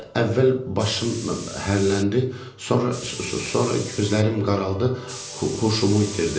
Əvvəl başım hərləndi, sonra sonra gözlərim qaraldı, huşumu itirdim.